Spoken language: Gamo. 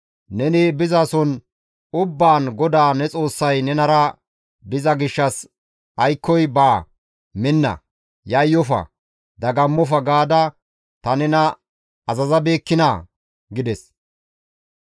Neni bizason ubbaan GODAA ne Xoossay nenara diza gishshas aykkoy baa, minna, yayyofa, dagammofa gaada ta nena azazabeekkinaa!» gides.